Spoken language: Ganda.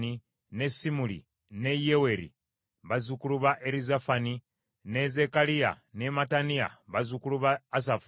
ne Simuli ne Yeyeri bazzukulu ba Erizafani, ne Zekkaliya ne Mattaniya, bazzukulu ba Asafu,